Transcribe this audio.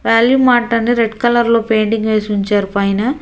Value mart అని red కలర్లో painting వేసి ఉంచారు పైన.